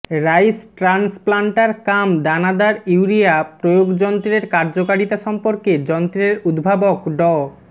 rice transplanter cum দানাদার urea প্রয়োগ যন্ত্রের কার্যকারিতা সম্পর্কে যন্ত্রের উদ্ভাবক ড